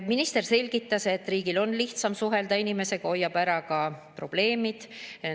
Minister selgitas, et riigil on nii lihtsam inimesega suhelda, see hoiab ära ka probleemid.